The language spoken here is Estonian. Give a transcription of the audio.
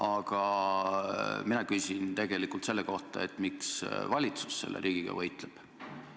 Aga mina küsin tegelikult selle kohta, miks valitsus riigiga võitleb.